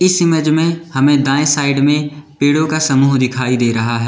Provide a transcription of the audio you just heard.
इस इमेज में हमें दाएं साइड में पेड़ो का समूह दिखाई दे रहा हैं।